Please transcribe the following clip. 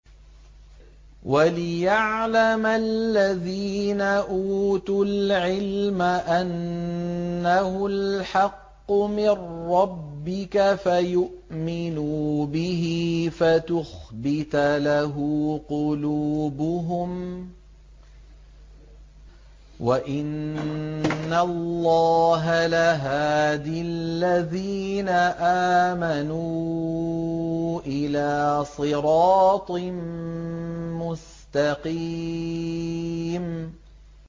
وَلِيَعْلَمَ الَّذِينَ أُوتُوا الْعِلْمَ أَنَّهُ الْحَقُّ مِن رَّبِّكَ فَيُؤْمِنُوا بِهِ فَتُخْبِتَ لَهُ قُلُوبُهُمْ ۗ وَإِنَّ اللَّهَ لَهَادِ الَّذِينَ آمَنُوا إِلَىٰ صِرَاطٍ مُّسْتَقِيمٍ